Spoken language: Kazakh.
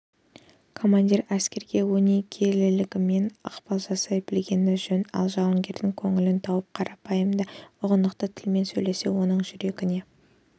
командир әскерге өнегелілігімен ықпал жасай білгені жөн ал жауынгердің көңілін тауып қарапайым да ұғынықты тілмен сөйлесе оның жүрегіне